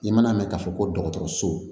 I man'a mɛn k'a fɔ ko dɔgɔtɔrɔso